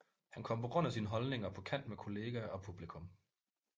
Han kom på grund af sine holdninger på kant med kolleger og publikum